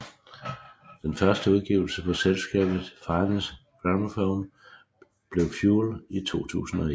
Den første udgivelse på selskabet Finest Gramophone blev Fuel i 2001